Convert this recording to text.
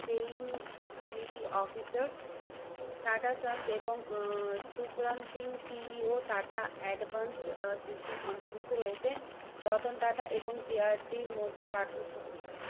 তেইন বিলিতি officer Tata Sons এবং আহ শুক্রাণ Singh CEO Tata Advance System অন্তর্ভুক্ত রয়েছে। রতন টাটা এবং জে আর ডির মধ্যে পার্থক্য কি?